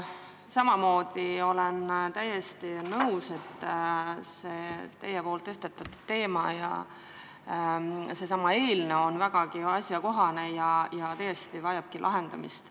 Olen samamoodi täiesti nõus, et teie tõstatatud teema ja see eelnõu on vägagi asjakohased ja see probleem vajab tõesti lahendamist.